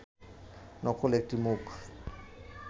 নকল একটি মুখ